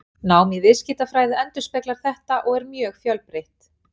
Nám í viðskiptafræði endurspeglar þetta og er mjög fjölbreytt.